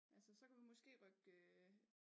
Altså så kunne vi måske rykke øh